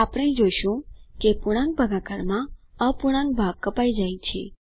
આપણે જોશું કે પૂર્ણાંક ભાગાકારમાં અપૂર્ણાંક ભાગ કપાય જાય છે